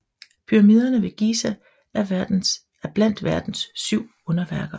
Pyramidene ved Giza er blandt Verdens syv underværker